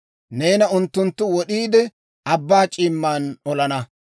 Neena unttunttu wod'iide, abbaa c'iimman olana.